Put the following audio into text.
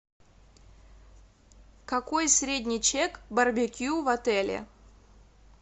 какой средний чек барбекю в отеле